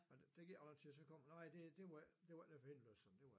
Men der gik ikke ret lang tid så kom hun nej nej det var ikke det var ikke nødvendigt og så det var